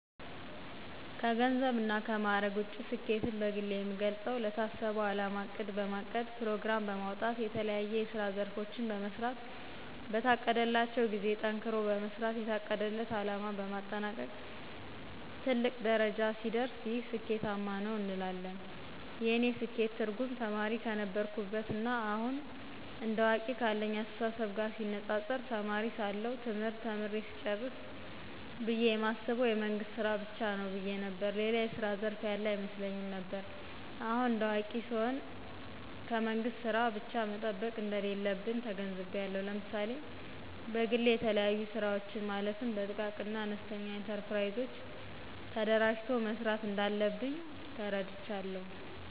ከገንዘብ እና ከማዕረግ ውጭ ስኬትን በግሌ የምገልጸው ለታሰበው አላማ እቅድ በማቀድ ፕሮግራም በማውጣት የተለያዬ የስራ ዘርፎችን በመሥራት በታቀደላቸው ጊዜ ጠንክሮ በመስራት የታቀደለት አለማ በማጠናቀቅ ትልቅ ደረጃ ሲደርስ ይህ ስኬታማ ነው እንላለን። የእኔ ስኬት ትርጉም ተማሪ ከነበርኩበት ና አሁን እንደ አዋቂ ካለኝ አስተሳሰብ ጋር ሲነፃፀር ተማሪ ሳለሁ ትምህርት ተምሬ ስጨርስ ብየ የማስበው የመንግስት ስራ ብቻ ነው ብየ ነበር። ሌላ የስራ ዘርፍ ያለ አይመስለኝም ነበር። አሁን እንደ አዋቂ ስሆን ከመንግስት ስራ ብቻ መጠበቅ እንደሌለብኝ ተገንዝቤአለሁ። ለምሳሌ በግሌ የተለያዩ ስራወችን ማለትም በጥቃቅንና አነስተኛ ኢንተርፕራይዞች ተደራጅቶ መስራት እንዳለብኝ ተረድቻለሁ።